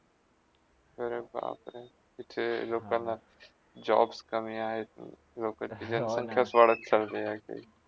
अरे बापरे! इथे लोकांना jobs कमी आहेत आणि लोकसंखीय वाढत चाली आहे.